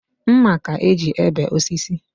Mma ka e ji ebe osisi